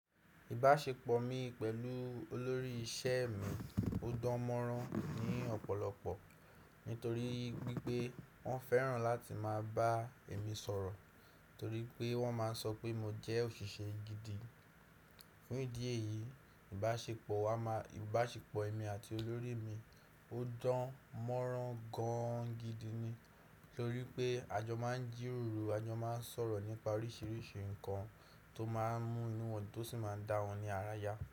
Ìbáṣepọ̀ mi pẹ̀lú olórí iṣẹ́ mi ó dán mọ́rán ní ọ̀pọ̀lọpọ̀. Nítorí wípé wọ́n fẹ́ràn láti máa bá emi sọ̀rọ̀, torí pé wọ́n máa ń sọ pé mo jẹ́ òṣìṣẹ́ gidi. Ní idi eyìí, ìbáṣepọ̀ wa máa-- ìbáṣepọ̀ èmi àti olórí mi ó dán mọ́rán gan gidi ni. Nítorí pé a jọ máa ń jíròrò, a jọ máa ń sọ̀rọ̀ nípa oríṣiríṣi ǹkan tó máa ń mú inú wọn dun tó sì máa ń dá wọn ní ara yá.